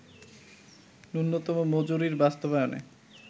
ন্যূনতম মজুরি বাস্তবায়নে